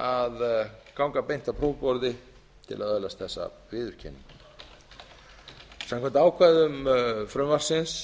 að ganga beint að prófborði til að öðlast þessa viðurkenningu samkvæmt ákvæðum frumvarpsins